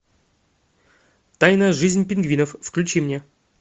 тайная жизнь пингвинов включи мне